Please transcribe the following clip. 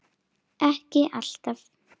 Ekki alltaf.